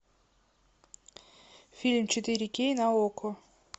фильм четыре кей на окко